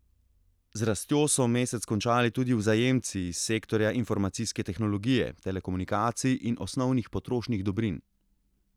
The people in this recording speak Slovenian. Z rastjo so mesec končali tudi vzajemci iz sektorja informacijske tehnologije, telekomunikacij in osnovnih potrošnih dobrin.